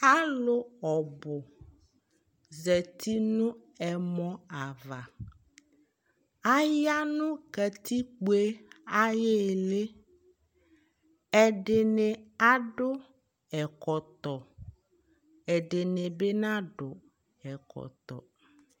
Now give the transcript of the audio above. alò ɔbu zati no ɛmɔ ava aya no katikpo yɛ ayi ili ɛdini adu ɛkɔtɔ ɛdini bi nadu ɛkɔtɔ